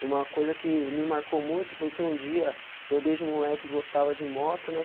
E uma coisa que me marcou muito foi que um dia eu desde moleque e gostava de moto, né?